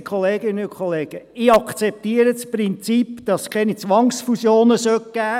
Geschätzte Kolleginnen und Kollegen, ich akzeptiere das Prinzip, dass es keine Zwangsfusionen geben sollte.